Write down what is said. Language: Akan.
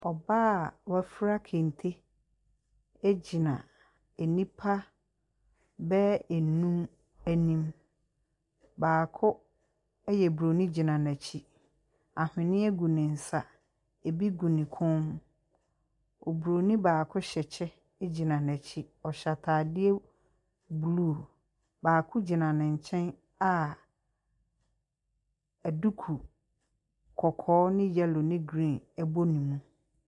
Ↄbaa a wafura kente gyina nnipa bɛyɛ nnum anim. Baako ɛyɛ Buroni gyina n’akyi. Ahweneɛ gu ne nsa, ebi gu ne kɔn mu. Oburoni baako hyɛ kyɛ gyina n’akyi. Ↄhyɛ ataadeɛ blue. Baako gyina ne nkyɛn a duku kɔkɔɔ ne yellow ne green bɔ ne mu.